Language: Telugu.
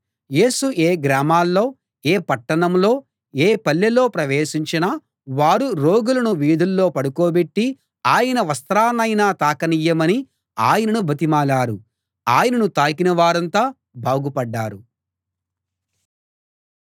యేసు ఏ గ్రామంలో ఏ పట్టణంలో ఏ పల్లెలో ప్రవేశించినా వారు రోగులను వీధుల్లో పడుకోబెట్టి ఆయన వస్త్రాన్నయినా తాకనియ్యమని ఆయనను బతిమాలారు ఆయనను తాకిన వారంతా బాగుపడ్డారు